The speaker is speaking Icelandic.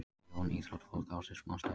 Erna og Jón íþróttafólk ársins